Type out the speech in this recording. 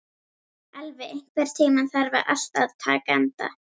Elvi, einhvern tímann þarf allt að taka enda.